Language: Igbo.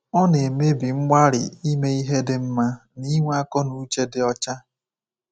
Ọ na-emebi mgbalị ime ihe dị mma na inwe akọ na uche dị ọcha.